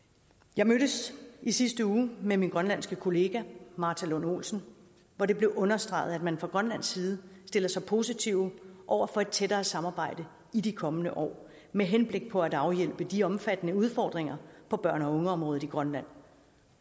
jeg mødtes i sidste uge med min grønlandske kollega martha lund olsen hvor det blev understreget at man fra grønlands side stiller sig positive over for et tættere samarbejde i de kommende år med henblik på at afhjælpe de omfattende udfordringer på børn og ungeområdet i grønland